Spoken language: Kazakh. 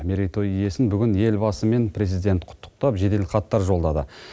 мерейтой иесін бүгін елбасы мен президент құттықтап жеделхаттар жолдады